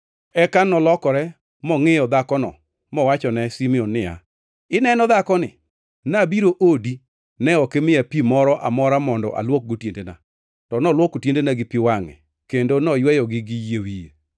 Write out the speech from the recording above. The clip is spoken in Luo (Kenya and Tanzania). Eka nolokore mongʼiyo dhakono mowachone Simon, niya, “Ineno dhakoni? Nabiro odi. Ne ok imiya pi moro amora mondo alwokgo tiendena, to nolwoko tiendena gi pi wangʼe kendo noyweyogi gi yie wiye.